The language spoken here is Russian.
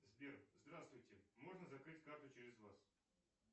сбер здравствуйте можно закрыть карту через вас